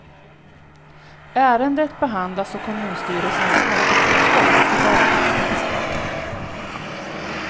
Ärendet behandlas av kommunstyrelsens arbetsutskott i dag tisdag.